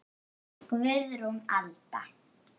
Guðrún Alda.